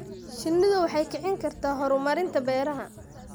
Shinnidu waxay kicin kartaa horumarinta beeraha.